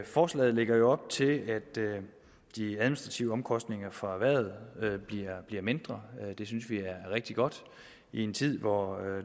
forslaget lægger jo op til at de administrative omkostninger for erhvervet bliver mindre og det synes vi er rigtig godt i en tid hvor